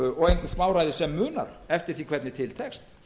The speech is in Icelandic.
og ekkert smáræði sem munar eftir því hvernig til tekst